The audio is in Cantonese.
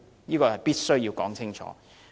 這是必須說清楚的。